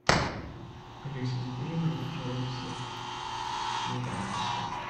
алиса закажи мне пожалуйста килограмм фасоли